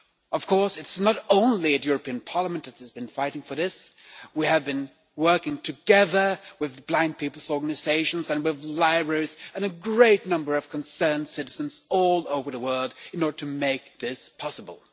Of course, not only the European Parliament has been fighting for it we have been working together with blind people's organisations and with libraries, as well as a great number of concerned citizens all over the world, to make this possible.